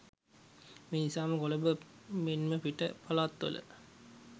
මේ නිසාම කොළඹ මෙන්ම පිට පළාත් වල